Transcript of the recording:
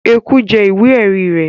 Eku jẹ ìwé ẹ̀rí rẹ̀